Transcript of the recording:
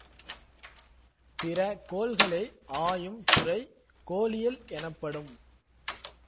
பிற கோள்களை ஆயும் துறை கோளியல் எனப்படும்